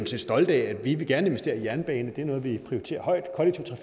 set stolte af vi vil gerne investere i jernbane det er noget vi prioriterer højt og